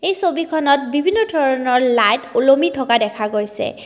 এই ছবিখনত বিভিন্ন ধৰণৰ লাইট উলমি থকা দেখা গৈছে।